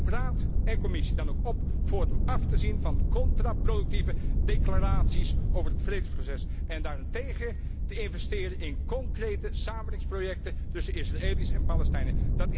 Ik roep Raad en Commissie dan ook op voortaan af te zien van contraproductieve declaraties over het vredesproces en daarentegen te investeren in concrete samenwerkingsprojecten tussen Israëli's en Palestijnen.